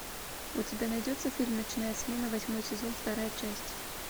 у тебя найдется фильм ночная смена восьмой сезон вторая часть